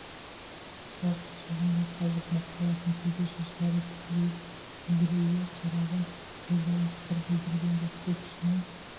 тас қажағандай қажып мұқаласың төбе шаштары тікірейіп үдрейе қараған қожайын сыр білдірген жоқ көк шыны